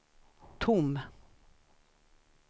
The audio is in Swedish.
tom